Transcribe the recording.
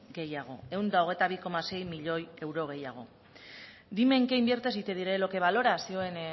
gehiago ehun eta hamabi koma sei miloi euro gehiago dime en qué inviertes y te diré lo que valoras zihoen